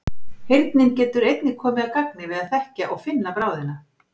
Heyrnin getur einnig komið að gagni við að þekkja og finna bráðina.